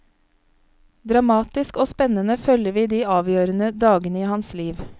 Dramatisk og spennende følger vi de avgjørende dagene i hans liv.